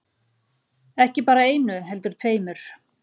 Ekki bara einu heldur tveimur.